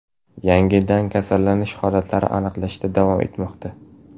Yangidan kasallanish holatlari aniqlanishda davom etmoqda.